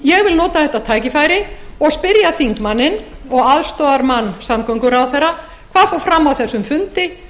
ég vil nota þetta tækifæri og spyrja þingmanninn og aðstoðarmann samgönguráðherra hvað fór fram á þessum fundi